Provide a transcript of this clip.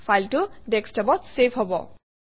ফাইলটো desktop অত save হব